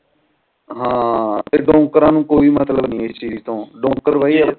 ਹਾਂ ਡੋਂਕੇਰਾ ਨੂੰ ਕੋਈ ਮਤਲੱਬ ਨੀ ਇਸ ਤੋਂ ਡੋਂਕੇਰ